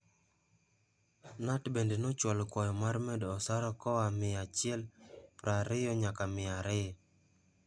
Knut bende nochwalo kwayo mar medo osara koa mia achiel prario nyaka mia ario.